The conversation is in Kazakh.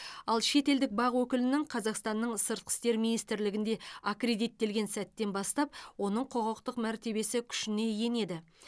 ал шетелдік бақ өкілінің қазақстанның сыртқы істер министрлігінде аккредиттелген сәттен бастап оның құқықтық мәртебесі күшіне енеді